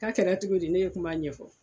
K'a kɛra togo di ne ye kuma ɲɛfɔ